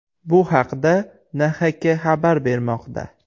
Bu haqda NHK xabar bermoqda .